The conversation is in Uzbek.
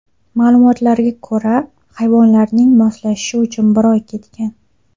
Ma’lumotlarga ko‘ra, hayvonlarning moslashishi uchun bir oy ketgan.